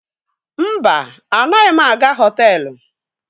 Mba, anaghị m aga họtelụ.